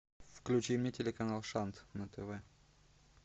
включи мне телеканал шант на тв